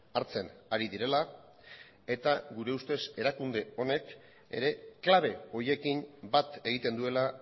hartzen ari direla eta gure ustez erakunde honek ere klabe horiekin bat egiten duela